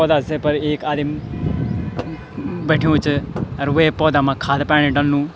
पौधा से पर एक आदिम बैठ्युं च अर वे पौधा मा खाद पाणी डलनु।